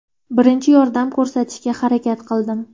Birinchi yordam ko‘rsatishga harakat qildim.